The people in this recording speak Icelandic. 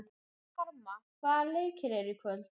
Karma, hvaða leikir eru í kvöld?